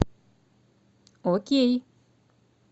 окей